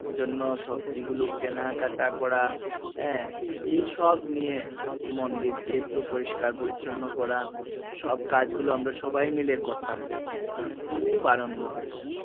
জন্য সবজি গুলো কেনা কাটা করা আহ এইসব নিয়ে মন্দির কে একটু পরিষ্কার পরিছন্ন করা সব কাজ গুলো আমরা সবাই মিলে করতাম মানে খুব আনন্দ হতো